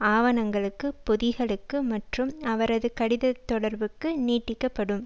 ஆவணங்களுக்கு பொதிகளுக்கு மற்றும் அவரது கடிதத்தொடர்புக்கு நீட்டிக்க படும்